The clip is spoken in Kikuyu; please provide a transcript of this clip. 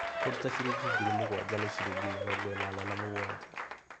Kũruta ngiri mũgwanja nĩ ciringi mĩrongo inana na mũgwanja